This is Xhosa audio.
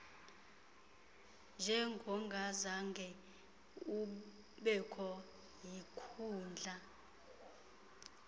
njengongazange ubekho yinkundla